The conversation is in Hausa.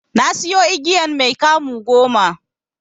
Nasiyo igiyan mai 'kamu' goma.